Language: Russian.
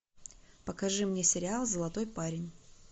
покажи мне сериал золотой парень